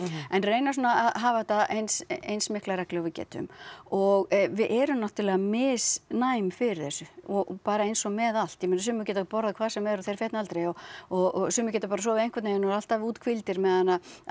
en reyna svona að hafa þetta eins eins mikla reglu og við getum og við erum náttúrulega misnæm fyrir þessu bara eins og með allt ég meina sumir geta borðað hvað sem er og þeir fitna aldrei og og sumir geta bara sofið einhvern veginn og eru alltaf úthvíldir meðan að